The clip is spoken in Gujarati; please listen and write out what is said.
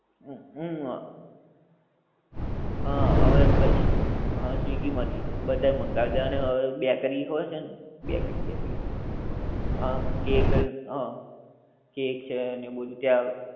હું હું આ, હા હવે પછી હા સ્વીગી માંથી બધાય મંગાવે છે અને હવે બેકરી હોય છે ને. Bakery bakery. હા કેક અને હા કેક છે ને બધુ ત્યાં